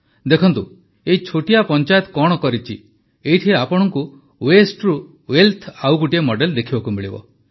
ଦେଖନ୍ତୁ ଏହି ଛୋଟିଆ ପଂଚାୟତ କଣ କରିଛି ଏଇଠି ଆପଣଙ୍କୁ ୱେଷ୍ଟ୍ରୁ ୱେଲଥର ଆଉ ଗୋଟିଏ ମଡେଲ୍ ଦେଖିବାକୁ ମିଳିବ